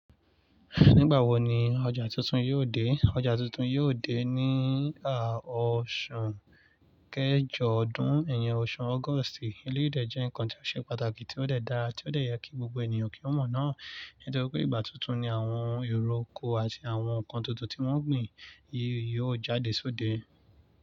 Nígbà wo ni ọjà tuntun yóò dé? Ọjà tuntun yóò dé ní ọ̀ṣu kejọ ọdún, iyen ọ̀ṣu August. Eléyìí dẹ̀ jẹ́ ǹnkan tó ṣe pàtàkì, tí ó dẹ̀ dára, tí ó dẹ̀ yẹ kí gbogbo ènìyàn kí wọ́n mọ̀ náà. Nítori pé ìgbà tuntun ni àwọn èrò ọkọ̀ àti àwọn ǹnkan tuntun tí wọ́n gbìn yí yóò jáde sóde.